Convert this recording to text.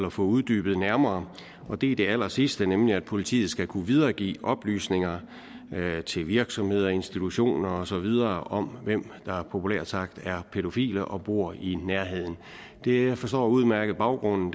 at få uddybet nærmere og det er det allersidste nemlig at politiet skal kunne videregive oplysninger til virksomheder institutioner og så videre om hvem der populært sagt er pædofile og bor i nærheden det forstår jeg udmærket baggrunden